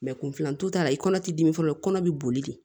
kun filanto ta la i kɔnɔ ti dimi fɔlɔ kɔnɔ bi boli de